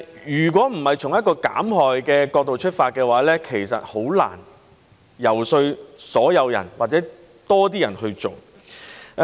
如果不是從一個減害的角度出發，其實很難遊說所有人或多些人去做。